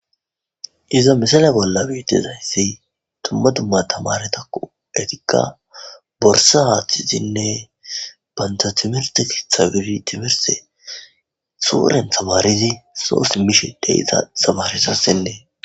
iza misala bollani dizayssi dumma dumma tamaretakko etikka borsa haaththizinne banta timirte ketha bidi suuren tamaridi soo simmishe de7 ya misiley beesses